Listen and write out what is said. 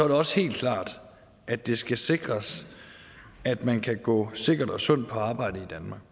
det også helt klart at det skal sikres at man kan gå sikkert og sundt på arbejde